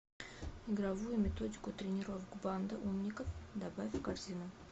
игровую методику тренировок банда умников добавь в корзину